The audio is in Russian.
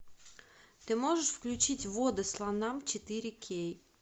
ты можешь включить воды слонам четыре кей